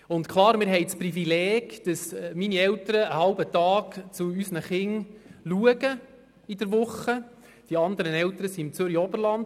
Wir haben das Privileg, dass meine Eltern einen halben Tag pro Woche die Kinderbetreuung übernehmen.